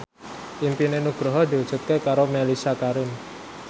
impine Nugroho diwujudke karo Mellisa Karim